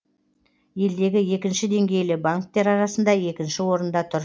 елдегі екінші деңгейлі банктер арасында екінші орында тұр